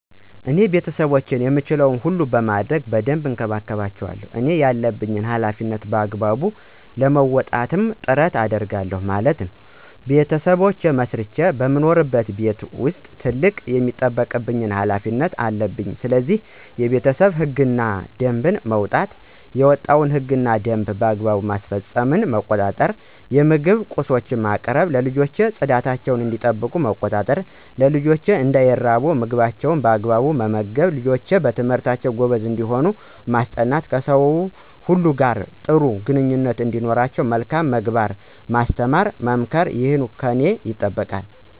እኔ ቤተሰቦቼን የምችለዉን ሁሉ በማድረግ በደንብ እንከባከባቸዋለሁ እኔ ያለብኝን ሀላፊነት በአግባቡ ለመወጣትም ጥረት አደርጋለሁ ማለትም "ቤተሰብ መስርቼ በምኖርበት ቤት ዉስጥ ትልቅ የሚጠበቅብኝ ሀላፊነት" አለብኝስለዚህ፦ የቤተሰቡን ህግ እና ደንብ ማዉጣት፣ የወጣዉ ህግ እና ደንብ በአግባቡ መፈፀሙን መቆጣጠር፣ የምግብ ቁሶችን ማቅረብ፣ ልጆችን ፅዳታቸዉ እንዲጠበቅ መቆጣጠር፣ ልጆች እንዳይራቡ ምግባቸዉን በአግባቡ መመገብ፣ ልጆች በትምህርታቸዉ ጎበዝ እንዲሆኑ ማስጠናት፣ ከሰዉ ሁሉ ጋር ጥሩ ግንኙነት እንዲኖራቸዉ መልካም ምግባርን ማስተማር መምከር ይህ ከኔ ይጠበቃል።